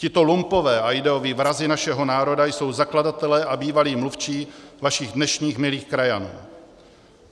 Tito lumpové a ideoví vrazi našeho národa jsou zakladatelé a bývalí mluvčí vašich dnešních milých krajanů.